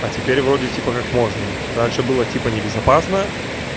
а теперь вроде типа как можно раньше было типа небезопасно